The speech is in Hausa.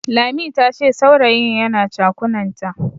Lami tace saurayin yana chakunanta.